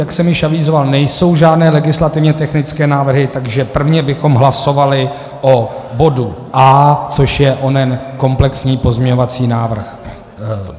Jak jsem již avizoval, nejsou žádné legislativně technické návrhy, takže prvně bychom hlasovali o bodu A, což je onen komplexní pozměňovací návrh.